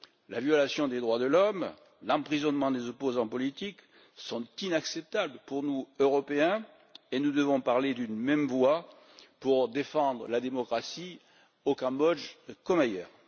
La violation des droits de l'homme et l'emprisonnement des opposants politiques sont inacceptables pour nous Européens et nous devons parler d'une même voix pour défendre la démocratie au Cambodge, comme ailleurs.